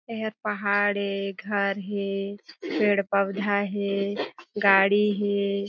एहर पहाड़ हे घर हे पेड़-पवधा हे गाड़ी हे।